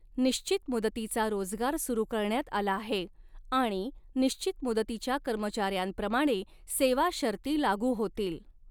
निश्चित मुदतीचा रोजगार सुरु करण्यात आला आहे आणि निश्चित मुदतीच्या कर्मचार्यांऱ्यांप्रमाणे सेवा शर्ती लागू होतील.